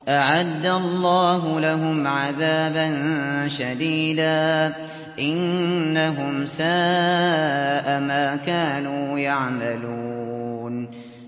أَعَدَّ اللَّهُ لَهُمْ عَذَابًا شَدِيدًا ۖ إِنَّهُمْ سَاءَ مَا كَانُوا يَعْمَلُونَ